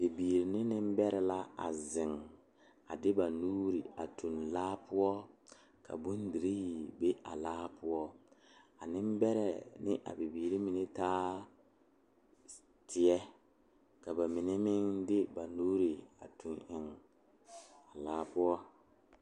Bibiiri ne Nenbɛre la zeŋ ka ba de ba nuure tuŋ eŋ laa poɔ ka bondire be a laa poɔ a Nenbɛre ne a bibiiri mine taa teɛ ka bamine meŋ de ba nuure a tuŋ eŋ a laa poɔ.